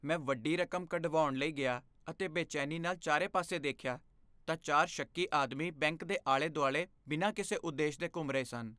ਮੈਂ ਵੱਡੀ ਰਕਮ ਕਢਵਾਉਣ ਲਈ ਗਿਆ ਅਤੇ ਬੇਚੈਨੀ ਨਾਲ ਚਾਰੇ ਪਾਸੇ ਦੇਖਿਆ ਤਾਂ ਚਾਰ ਸ਼ੱਕੀ ਆਦਮੀ ਬੈਂਕ ਦੇ ਆਲੇ ਦੁਆਲੇ ਬਿਨਾਂ ਕਿਸੇ ਉਦੇਸ਼ ਦੇ ਘੁੰਮ ਰਹੇ ਸਨ